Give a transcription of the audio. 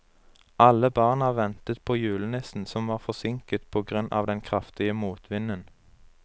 Alle barna ventet på julenissen, som var forsinket på grunn av den kraftige motvinden.